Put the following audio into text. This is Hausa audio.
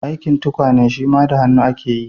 Aikin tukwane shima da hannu ake yi.